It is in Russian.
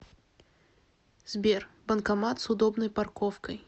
сбер банкомат с удобной парковкой